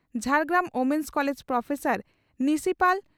Jhargram women's college professor principal